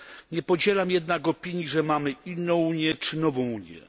Nie podzielam jednak opinii, że mamy inną Unię czy nową Unię.